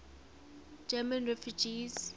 german refugees